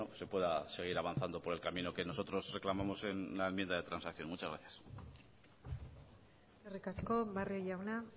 se pueda seguir avanzando por el camino que nosotros reclamamos en la enmienda de transacción muchas gracias eskerrik asko barrio jauna